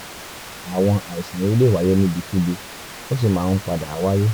àwọn àìsàn yìí lè wáyé níbikíbi ó sì máa ń padà wáyé